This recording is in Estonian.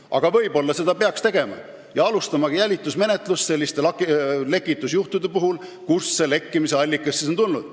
Aga võib-olla peaks seda tegema, alustamagi selliste lekitusjuhtumite puhul jälitusmenetlust, et kust on lekkimiste allikad tulnud.